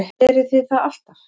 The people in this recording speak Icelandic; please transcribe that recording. Gerið þið það alltaf?